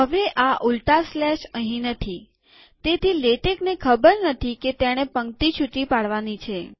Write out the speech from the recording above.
હવે આ ઊલટા સ્લેશ અહીં નથીતેથી લેટેકને ખબર નથી કે તેણે પંક્તિ છુટી પાડવાની છે